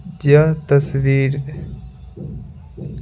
यह तस्वीर --